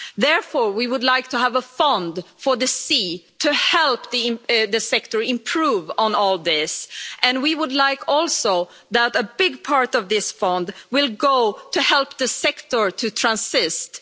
Therefore, we would like to have a fund for the sea to help the sector improve on all this and we would also like a big part of this fund to go towards helping the sector to transition.